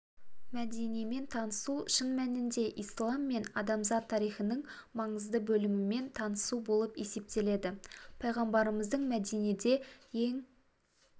мәдинемен танысу шын мәнінде ислам мен адамзат тарихының маңызды бөлімімен танысу болып есептеледі пайғамбарымыздың мәдинеде ең